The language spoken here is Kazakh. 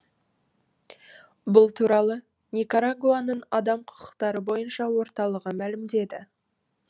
бұл туралы никарагуаның адам құқықтары бойынша орталығы мәлімдеді